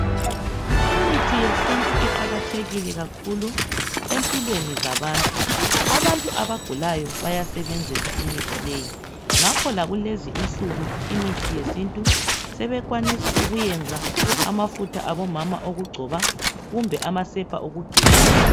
Imithi yesintu iqakathekile kakhulu empilweni zabantu. Abantu abagulayo bayasebenzisa imithi leyi. Ngakho lakulezi insuku imithi yesintu, sebekwanisa ukuyenza amafutha abomama awokugcoba kumbe amasepa awokugeza.